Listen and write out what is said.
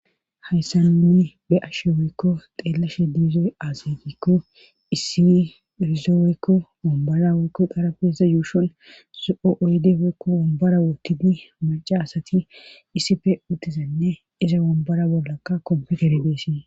hayssa nuni be ashshe weykko xeellashe diizoy azigikko issi irize weykko wombara woykko qarabeza yuushon zo7o oyde woykko wombara wotidi maca asati isife uttizanne iza wombara bollakka kompe geribeesie